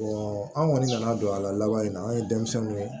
an kɔni nana don a la laban na an ye denmisɛnninw ye